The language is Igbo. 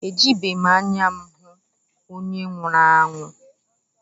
Ejibeghị m anya m hụ onye nwụrụ anwụ